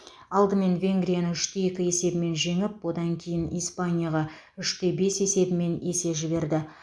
алдымен венгрияны үш те екі есебімен жеңіп одан кейін испанияға үш те бес есебімен есе жіберді